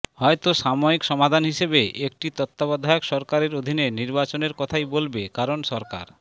হয়তো সাময়িক সমাধান হিসেবে একটি তত্ত্বাবধায়ক সরকারের অধীনে নির্বাচনের কথাই বলবে কারণ সরকার